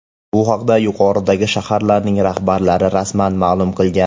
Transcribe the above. Bu haqda yuqoridagi shaharlarning rahbarlari rasman ma’lum qilgan .